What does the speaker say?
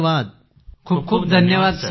सगळे छात्र खुप खुप धन्यवाद सर